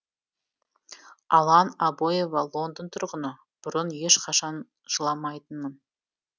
алан абоева лондон тұрғыны бұрын ешқашан жыламайтынмын